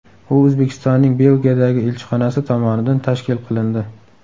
U O‘zbekistonning Belgiyadagi elchixonasi tomonidan tashkil qilindi.